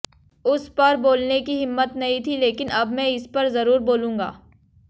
उस पर बोलने की हिम्मत नहीं थी लेकिन अब मैं इस पर जरूर बोलूंगा